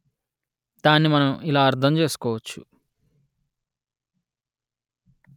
దాన్ని మనం ఇలా అర్ధం చేసుకోవచ్చు